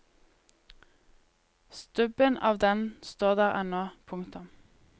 Stubben av den står der ennå. punktum